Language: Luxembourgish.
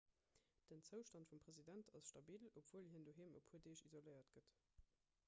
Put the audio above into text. den zoustand vum president ass stabil obwuel hien doheem e puer deeg isoléiert gëtt